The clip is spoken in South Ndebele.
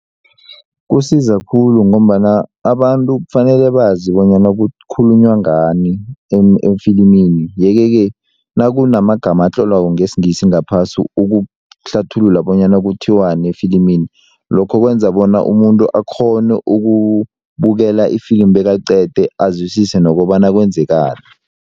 Kusiza khulu ngombana abantu kufanele bazi bonyana kukhulunywa ngani efilimini yeke-ke nakunamagama atlolwako ngesingisi ngaphasi ukuhlathulula bonyana kuthiwani efilimini lokho kwenza bona umuntu akghone ukubukela ifilimu bekaliqede azwisise nokobana kwenzekani.